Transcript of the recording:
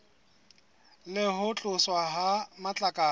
le ho tloswa ha matlakala